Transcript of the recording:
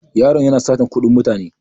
Yaron yana satar kuɗin mutane.